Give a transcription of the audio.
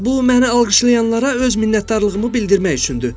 Bu məni alqışlayanlara öz minnətdarlığımı bildirmək üçündür.